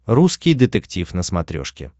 русский детектив на смотрешке